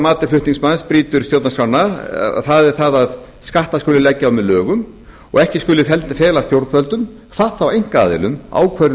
mati flutningsmanns brýtur stjórnarskrána það er það að skatta skuli leggja á með lögum og að ekki skuli fela stjórnvöldum hvað þá einkaaðilum ákvörðun